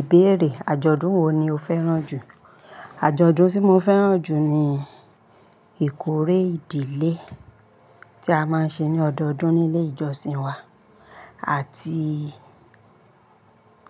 Ìbéèrè: àjọ̀dún wo ni o fẹ́ràn jù? Àjọ̀dún tí mo fẹ́ràn jù ni ìkórè ìdílé tí a máa ń ṣe ní ọdọọdún ní ilé ìjọsìn wa àti